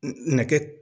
Nɛgɛ